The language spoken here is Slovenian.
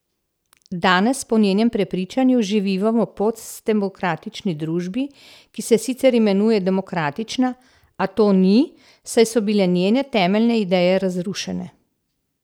Danes po njenem prepričanju živimo v postdemokratični družbi, ki se sicer imenuje demokratična, a to ni, saj so bile njene temeljne ideje razrušene.